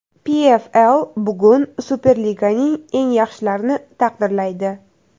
PFL bugun Superliganing eng yaxshilarini taqdirlaydi.